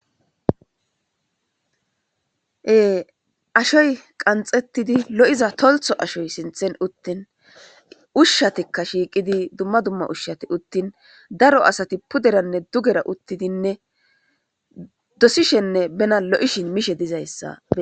e ashoy qanxettidi lo'iza toltho ashoy sinthen uttin ushshatikka shiiqidi dumma dumma ushshati uttin daro asati puderanne dugera uttidinne dosishenne bena lo'ishin mishe dizayssa